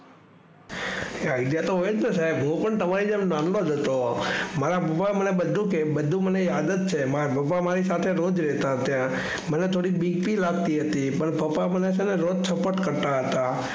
Idea તો હોયજને સાહેબ હું પણ નાનોજ હતો મને પણ બધું યાદ જ છે પપ્પા મારી સાથે સાથે રોજ રહેતા હતા પણ થોડી બીક પણ લગતી હતી પણ પપ્પા રોજ મને છે ને રોજ વાત કરતા હતા.